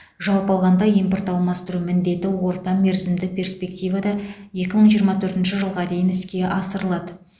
жалпы алғанда импорт алмастыру міндеті орта мерзімді перспективада екі мың жиырма төртінші жылға дейін іске асырылады